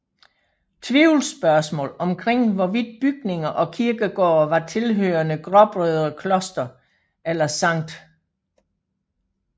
Tvivlsspørgsmål omkring hvorvidt bygninger og kirkegårde var tilhørende Gråbrødre kloster eller Sct